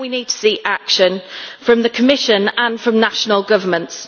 Now we need to see action from the Commission and from national governments.